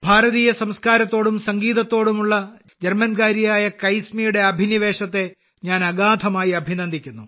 ഭാരതീയ സംസ്ക്കാരത്തോടും സംഗീതത്തോടുമുള്ള ജർമ്മൻകാരിയായ കൈസ്മിയുടെ ഈ അഭിനിവേശത്തെ ഞാൻ അഗാധമായി അഭിനന്ദിക്കുന്നു